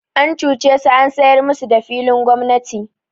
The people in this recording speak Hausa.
An cuce su an sayar musu da filin gwamnati.